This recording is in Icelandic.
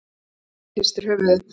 Hemmi hristir höfuðið.